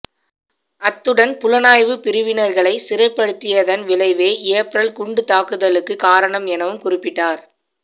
அத்துடன் புலனாய்வு பிரிவினர்களை சிறைப்படுத்தியதன் விளைவே ஏப்ரல் குண்டுத் தாக்குதலுக்கு காரணம் எனவும் குறிப்பிட்டார்